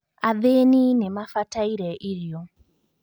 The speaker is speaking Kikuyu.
Athĩĩni nĩmabataire irio